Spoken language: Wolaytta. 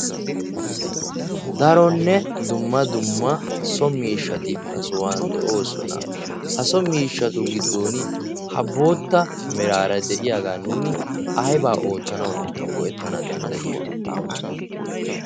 daronne dumma dumma so miishshati ha sohuwan de'oosona. ha so miishshatu giddon ha bootta meraara de'iyaagaa nuuni aibaa oottanau go'ettana danddayiyona?